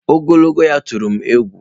Ogologo ya tụrụ m egwu.